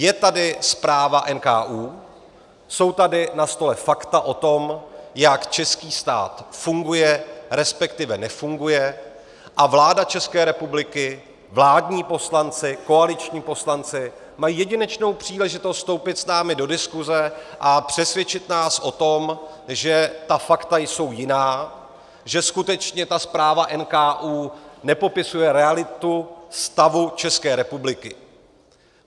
Je tady zpráva NKÚ, jsou tady na stole fakta o tom, jak český stát funguje, respektive nefunguje, a vláda České republiky, vládní poslanci, koaliční poslanci, mají jedinečnou příležitost vstoupit s námi do diskuze a přesvědčit nás o tom, že ta fakta jsou jiná, že skutečně ta zpráva NKÚ nepopisuje realitu stavu České republiky.